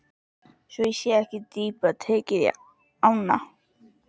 Svo ekki sé dýpra tekið í árinni.